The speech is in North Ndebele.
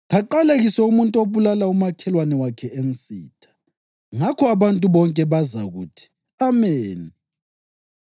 ‘Kaqalekiswe umuntu obulala umakhelwane wakhe ensitha.’ Ngakho abantu bonke bazakuthi, ‘Ameni!’